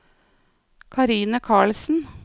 Karine Karlsen